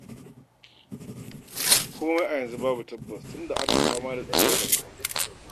Komai a yanzu babu tabbas tunda ana fama da tsadar rayuwa.